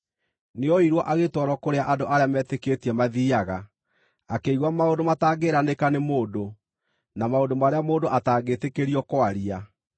nĩoirwo agĩtwarwo kũrĩa andũ arĩa metĩkĩtie mathiiaga, akĩigua maũndũ matangĩĩranĩka nĩ mũndũ, na maũndũ marĩa mũndũ atangĩtĩkĩrio kwaria.